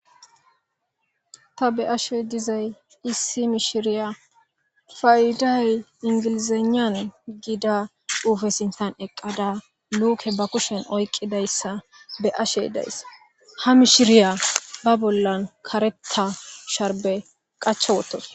Ta beyashe dizay issi mishiriya payda inglizeynani gida xuufe sinthan eqada like ba kushen oyqidaysa beyashe days ha mishiriya ba bolla karetha sharbe qacha wothadus